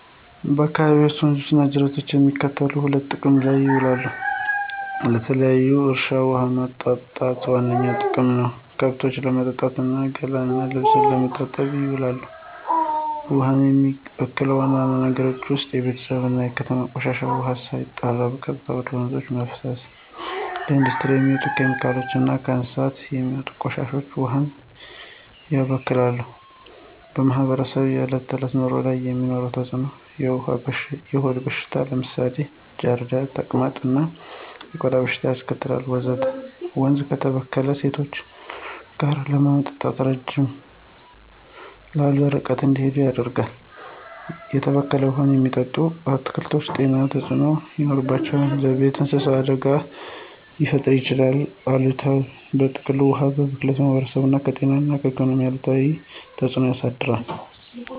በአካባቢዎ ወንዞች እና ጅረቶች ለሚከተሉት ሁሉ ጥቅም ላይ ይውላሉ -ለተለያዩ እርሻዎች ውሃ ማጠጣት ዋነኛ ጥቅም ነው፣ ከብቶችን ለማጠጣት እና ገላ እና ልብስ ለመታጠብ ይውላል። ውሃውን የሚበክሉ ዋና ዋና ነገሮች ውስጥ የቤተሰብ እና የከተማ ቆሻሻ ውሃ ሳይጣራ በቀጥታ ወደ ወንዞች መፍሰስ፣ የኢንዱስትሪ የሚወጡ ኬሚካሎች እና ከእንስሳት የሚወጡ ቆሻሻዎች ውሃውን ያበክላሉ። በማህበረሰቡ የዕለት ተዕለት ኑሮ ላይ የሚኖረው ተጽዕኖ -የሆድ በሽታዎች (ለምሳሌ ጃርዲያ፣ ተቅማጥ) እና የቆዳ በሽታዎች ያስከትላል፣ ወንዙ ከተበከለ ሴቶችና ልጆች ውሃ ለማምጣት ረዘም ላሉ ርቀቶች እንዲጓዙ ያደርጋል፣ በተበከለ ውሃ የሚለሙ አትክልቶች ጤና ተጽዕኖ ይኖራቸዋል፣ ለቤት እንስሳት አደጋ ሊፈጥር ይችላል። በጥቅሉ፣ የውሃ ብክለት በማህበረሰቡ ላይ ከጤና እና ኢኮኖሚ አንጻር አሉታዊ ተጽዕኖ ያሳድራል።